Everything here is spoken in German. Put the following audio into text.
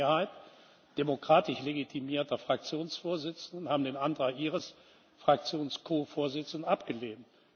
Also eine Mehrheit demokratisch legitimierter Fraktionsvorsitzender hat den Antrag Ihres Fraktions Ko Vorsitzenden abgelehnt.